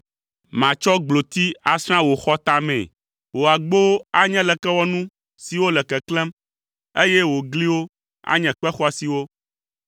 Matsɔ gbloti asrã wò xɔtamee, wò agbowo anye lekewɔnu siwo le keklẽm, eye wò gliwo anye kpe xɔasiwo.